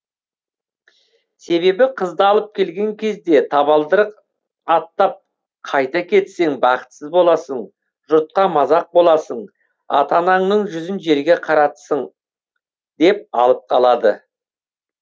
себебі қызды алып келген кезде табалдырық аттап қайта кетсең бақытсыз боласың жұртқа мазақ боласың ата анаңның жүзін жерге қаратсың деп алып қалады